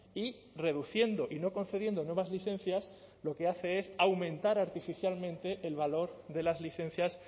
y reduciendo y no concediendo nuevas licencias lo que hace es aumentar artificialmente el valor de las licencias